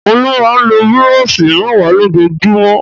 Olú máa ń lo búrọ́ṣì mẹ́wàá lójúmọ́?